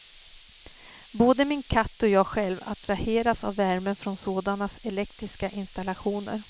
Både min katt och jag själv attraheras av värmen från sådana elektriska installationer.